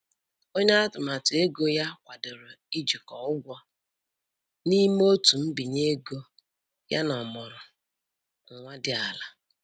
Onye atụmatụ ego ya kwadoro ijikọ ụgwọ n'ime otu mbinye ego yana ọmụrụ nwa dị ala.